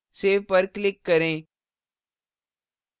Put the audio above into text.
save पर click करें